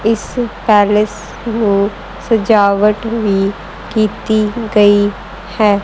ਇਸ ਪੈਲਸ ਨੂੰ ਸਜਾਵਟ ਵੀ ਕੀਤੀ ਗਈ ਹੈ।